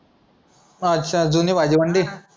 अच्छा जुनी भाजी मंडई.